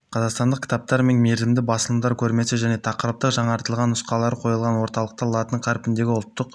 қазақстандық кітаптар мен мерзімді басылымдардың көрмесі және тақырыптық жаңартылған нұсқалары қойылған орталықта латын қарпіндегі ұлттық